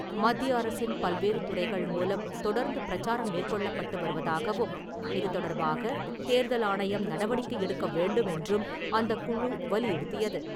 மத்திய அரசின் பல்வேறு துறைகள் மூலம் தொடர்ந்து பிரச்சாரம் மேற்கொள்ளப்பட்டு வருவதாகவும், இது தொடர்பாக தேர்தல் ஆணையம் நடவடிக்கை எடுக்க வேண்டுமென்றும் அந்தக்குழு வலியுறுத்தியது.